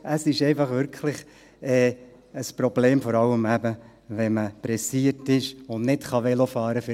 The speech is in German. Es ist einfach wirklich ein Problem, vor allem eben, wenn man es eilig hat und nicht Velo fahren kann;